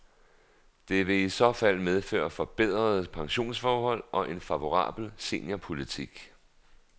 Det vil i så fald medføre forbedrede pensionsforhold og en favorabel seniorpolitik.